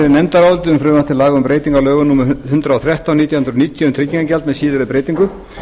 um breytingu á lögum númer hundrað og þrettán nítján hundruð níutíu um tryggingagjald með síðari